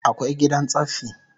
Akwai gidan tsaffi